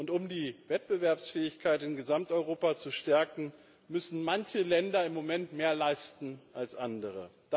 Und um die Wettbewerbsfähigkeit in Gesamteuropa zu stärken, müssen manche Länder im Moment mehr leisten als andere.